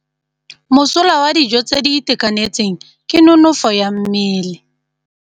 Mosola wa dijô tse di itekanetseng ke nonôfô ya mmele.